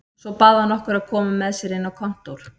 Svo bað hann okkur að koma með sér inn á kontór.